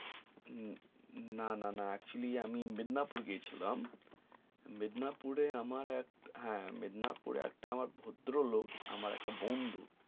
না না axcholy আমি মেদনাপুর গিয়েছিলাম মেদনাপুরের আমার এক হা মেদনাপুরের একটা আমার ভদ্র লোক আমার একটা বন্ধু